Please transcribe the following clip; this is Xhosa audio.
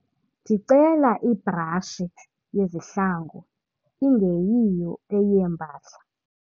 Ndicela ibrashi yezihlangu ingeyiyo eyeempahla.